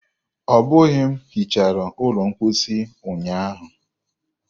Ọbụghị m hichara ụlọ mposi ụnyaahụ.